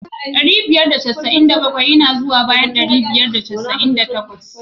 Dari biyar da casa'in da bakwai yana zuwa bayan dari biyar da casa'in da bakwai.